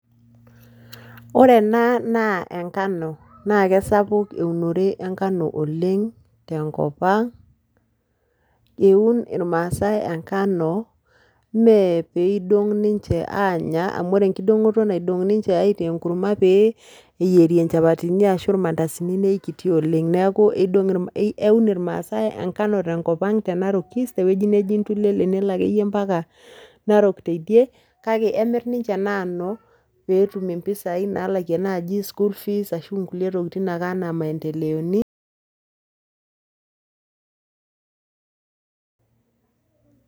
Ore ena naa engano, naa kesapuk eunore engano oleng' tenkop ang', eun irmaasai engano mee pidong' ninche anya, amu ore enkidong'oto naidong' ninche aitaa enkurma pee eyiere inchapatini ashu irmandasini, nekiti oleng'. Neeku idong' eun irmaasai engano tenkop te Narok East, tewueji neji Intulele nelo akeyie mpaka Narok teidie, kake emirr ninche ena anu, petum impisai nalakie naji school fees, ashu nkulie tokiting' aka anaa maendeleoni.